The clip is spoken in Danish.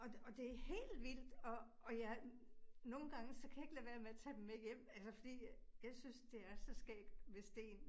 Og og det helt vildt, og og jeg nogle gange så kan jeg ikke lade være med at tage dem med hjem, altså fordi jeg synes det er så skægt med sten